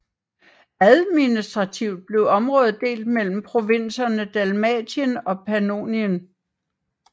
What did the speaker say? Administrativt blev området delt mellem provinserne Dalmatien og Pannonien